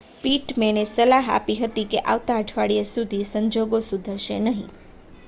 પિટમેનએ સલાહ આપી હતી કે આવતા અઠવાડિયા સુધી સંજોગો સુધરશે નહીં